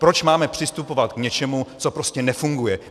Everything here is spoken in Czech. Proč máme přistupovat k něčemu, co prostě nefunguje?